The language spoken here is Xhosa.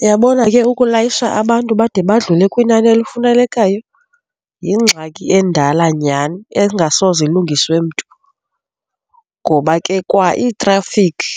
Uyabona ke ukulayisha abantu bade badlule kwinani elifunelekayo, yingxaki endala nyhani engasoze ilungiswe mntu, ngoba ke kwaiitrafikhi